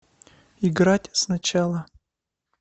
играть сначала